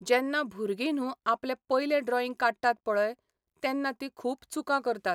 जेन्ना भुरगीं न्हू आपलें पयलें ड्रॉईंग काडटात पळय, तेन्ना तीं खूब चुकां करतात.